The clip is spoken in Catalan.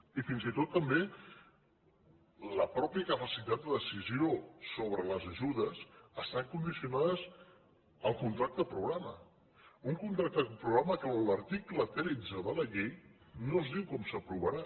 i fins i tot també la mateixa capacitat de decisió sobre les ajudes està condicionada al contracte programa un contracte programa que en l’article tretze de la llei no es diu com s’aprovarà